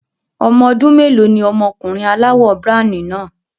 Ọmọ ọdún mélòó ni ọmọkùnrin aláwọ̀ browny náà?